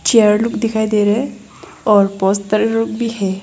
Chair look दिखाई दे रहे हैं और पोस्टर लोग भी है।